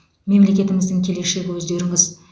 мемлекетіміздің келешегі өздеріңіз